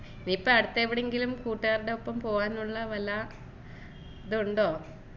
ഇപ്പോൾ അടുത്ത് എവിടെങ്കിലും കൂട്ടുകാരോടൊപ്പം പോകാനുള്ള വല്ല ഇതുണ്ടോ